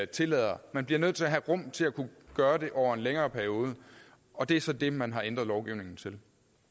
tillader man bliver nødt til at have rum til at kunne gøre det over en længere periode og det er så det man har ændret lovgivningen til